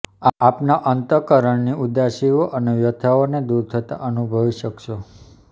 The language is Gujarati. આપના અંતઃકરણની ઉદાસીઓ અને વ્યથાઓને દૂર થતાં અનુભવી શકશો